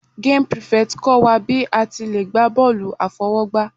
Game prefect kọ́ wa bí a ti le gbá bọ́ọ̀lù àfọwọ́gbá.